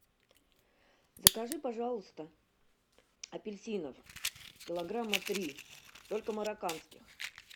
закажи пожалуйста апельсинов килограмма три только марокканских